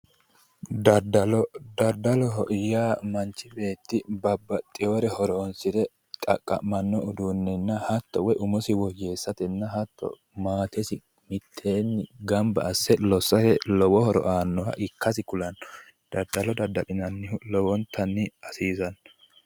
daddalo daddaloho yya manchi beetti babbaxewore horonsire xaqqammanno uduunenna hatto umosi woyyeessate hatto maatesi woyyeessatenna maatesi mitteenni gamba asse lossate lowo horo aannoha ikkasi kulanno daddalo dadda'linannihu horomtanni hasiisanno.